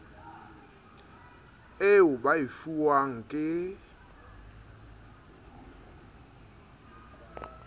eo ba e fuwang ke